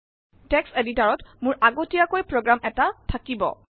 text এদিতৰত মোৰ আগতীয়াকৈ প্ৰোগ্ৰাম এটা থাকিব